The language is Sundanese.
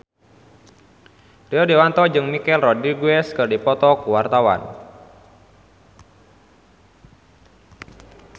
Rio Dewanto jeung Michelle Rodriguez keur dipoto ku wartawan